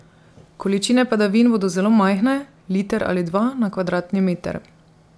Količine padavin bodo zelo majhne, liter ali dva na kvadratni meter.